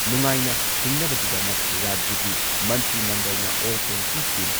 ꯅꯨꯡꯉꯥꯏꯅ ꯍꯤꯡꯅꯕꯒꯤꯗꯃꯛ ꯔꯥꯖ꯭ꯌꯒꯤ ꯃꯟꯇ꯭ꯔꯤ ꯃꯟꯗꯜꯅ ꯑꯣꯜ ꯄꯦꯟꯁꯤꯟ ꯁ꯭ꯀꯤꯝ